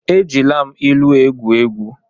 Ejila m ilu egwu egwu.